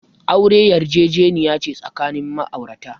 Aure yarjejeniya ce tsakanin ma'aurata.